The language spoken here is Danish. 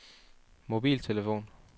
mobiltelefon